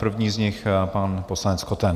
První z nich pan poslanec Koten.